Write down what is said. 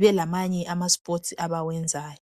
belamanye ama sport abawenzayo